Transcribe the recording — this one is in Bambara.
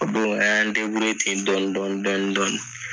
O don an y'an ten dɔni dɔni dɔni dɔni.